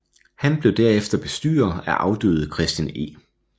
Han blev derefter bestyrer af afdøde Christian E